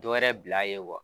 Dɔwɛrɛ bil'a ye wa